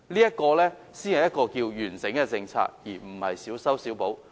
這才是完整的政策，而並非進行小修小補。